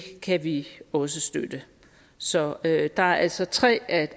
kan vi også støtte så der er altså tre af